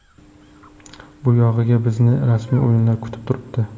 Bu yog‘iga bizni rasmiy o‘yinlar kutib turibdi.